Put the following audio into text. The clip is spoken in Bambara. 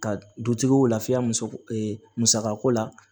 Ka dutigiw lafiya muso musaka ko la